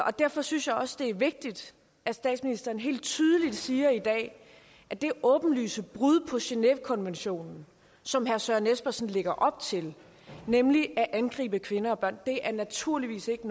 og derfor synes jeg også det er vigtigt at statsministeren helt tydeligt siger at at det åbenlyse brud på genèvekonventionen som herre søren espersen lægger op til nemlig at angribe kvinder og børn naturligvis ikke